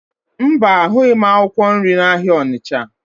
Mba, ahụghị m akwụkwọ nri n'ahịa Ọnịcha